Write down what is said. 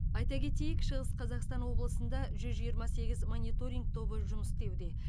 айта кетейік шығыс қазақстан облысында жүз жиырма сегіз мониторинг тобы жұмыс істеуде